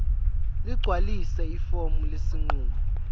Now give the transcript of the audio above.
ligcwalise ifomu lesinqumo